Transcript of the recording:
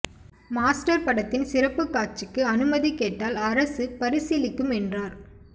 master படத்தின் சிறப்புக் காட்சிக்கு அனுமதி கேட்டால் அரசு பரிசீலிக்கும் என்றார்